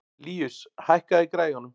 Líus, hækkaðu í græjunum.